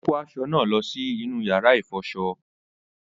Ó kó aṣọ náà lọ sí yàrá ìfọṣọ